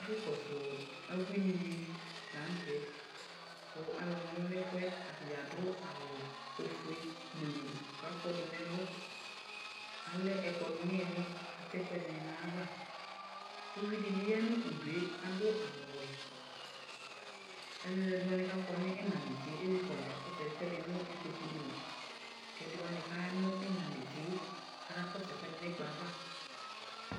Ɛfu kɔsʋ abuinɩ la n'tɛ kʋ ɔlʋnɔlʋ n'ɛfʋ yɛ adʋ awʋ ofue gbluu k'akɔdʋ n'ɛlʋ Alɛ ɛkplɔ dɩ n'iili k'atɛ ɛkʋɛdɩnɩ n'ayava Uvi dɩ bɩ ya nʋ udu yɛ, adʋ awʋ wɛ, alʋ ɛdɩwanɩ k'akɔ nʋ ɩmla netse yɛ ezikɔlʋ k'akɔ sʋ ɛkʋɛdɩ nʋ ikpoku dɩ li, k'ɛdɩwznɩ k'sya nʋ iina netse yɛ aka kɔsʋ ɛkʋɛdɩ n'ɛkplɔ yɛ ava